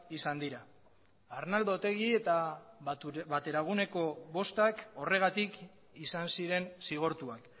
izan dira arnaldo otegi eta bateraguneko bostak horregatik izan ziren zigortuak